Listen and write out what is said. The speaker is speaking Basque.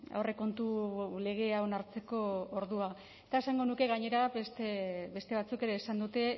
aurrekontu legea onartzeko ordua eta esango nuke gainera beste batzuk ere esan dute